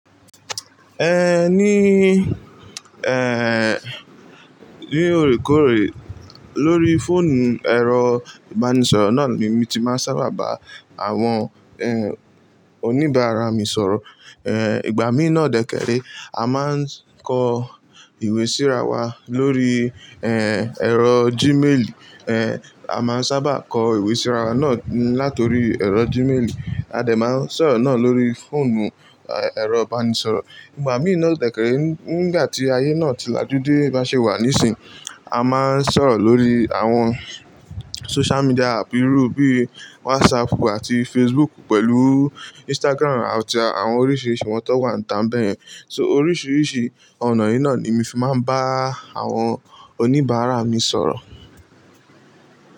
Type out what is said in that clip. Ní, ní òrékòré lóri fóònù ẹ̀rọ ìbánisọ̀rọ̀ náà ni mí tí máa sábà bá àwọn, oníbàárà mi sọ̀rọ̀. Ìgbà mí náà dẹ́kẹ́rẹ́ a máa ń kọ ìwé síra wá lórí, ẹ̀rọ gíméèlí, a máa ń sábà kọ ìwé síra wa náà láti orí ẹ̀rọ gíméèlí. A dè máa ń sọ̀rọ̀ náà lórí fóònù, ẹ̀rọ ìbánisọ̀rọ̀. Ìgbà mí náà dẹ́kẹ́rẹ́ nígbà tí ayé náà ti lajú dé bá ṣe wà níìsín a máa ń sọ̀rọ̀ lórí àwọn social media app irú bíi WhatsApp àti Facebook pẹ̀lú Instagram àti àwọn oríṣiríṣi wọ́n tó wà ìta bẹ́ẹ̀ yẹn. So oríṣiríṣi ọ̀nà yìí náà ni mí fi máa ń bá àwọn oníbàárà mi sọ̀rọ̀